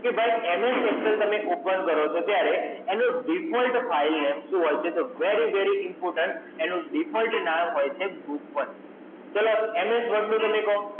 કે ભાઈ MS Excel તમે ઓપને કરો છો ત્યારે, એનો Default File Name શું હોય છે? તો Very Very Important, એનું Default નામ હોય છે Book એક. ચાલો MS Word નું તમને કહું